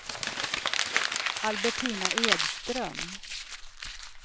Albertina Edström